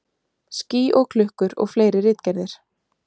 Ský og klukkur og fleiri ritgerðir.